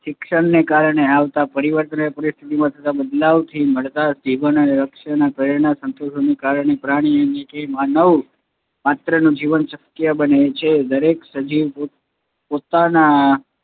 શિક્ષણને કારણે આવતા પરિવર્તનને પરીથીતી ને બદલાવ થી માલ્ટા જીવન અને લક્ષણ પરિણામ ના સન્તોષોના કારણ પ્રાણી અને એ માનવ માત્રનું જીવન શક્ય બને છે. દરેક સજીવ પોતાના